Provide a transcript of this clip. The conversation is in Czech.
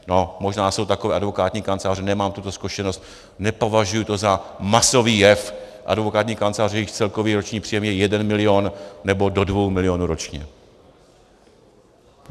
No, možná jsou takové advokátní kanceláře, nemám tuto zkušenost, nepovažuji to za masový jev, advokátní kanceláře, jejichž celkový roční příjem je 1 milion nebo do 2 miliony ročně.